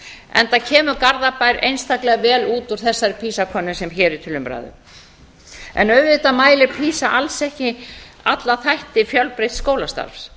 enda kemur garðabær einstaklega vel út úr þessari pisa könnun sem hér er til umræðu auðvitað mælir pisa alls ekki alla þætti fjölbreytts skólastarfs